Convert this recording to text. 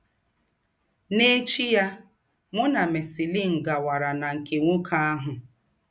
N’ēchí yà, mụ nà Marceline gàwàrà nà nke nwókè àhụ̀.